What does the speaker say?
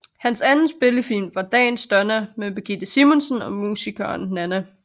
Hans anden spillefilm var Dagens Donna med Birgitte Simonsen og musikeren Nanna